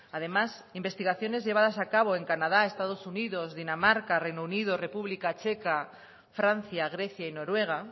además investigaciones llevadas a cabo en canadá estados unidos dinamarca reino unido república checa francia grecia y noruega